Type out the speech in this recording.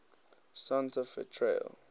santa fe trail